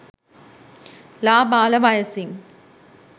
ළාබාල වයසින්